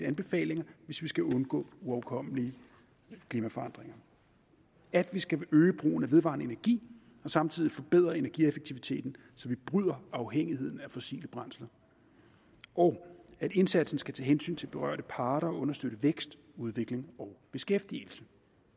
anbefalinger hvis vi skal undgå uoverkommelige klimaforandringer at vi skal øge brugen af vedvarende energi og samtidig forbedre energieffektiviteten så vi bryder afhængigheden af fossile brændsler og at indsatsen skal tage hensyn til berørte parter og understøtte vækst udvikling og beskæftigelse